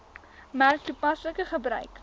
merk toepaslike gebruik